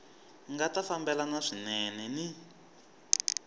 nga ta fambelana swinene ni